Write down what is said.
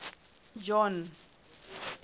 john